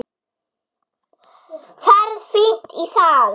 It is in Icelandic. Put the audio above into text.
Ferð fínt í það.